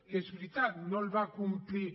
que és veritat no el va complir